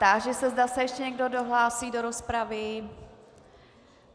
Táži se, zda se ještě někdo hlásí do rozpravy.